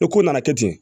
O ko nana kɛ ten